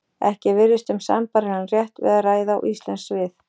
Ekki virðist um sambærilegan rétt að ræða og íslensk svið.